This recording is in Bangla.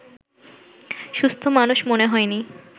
সুস্থ মানুষ মনে হয়নি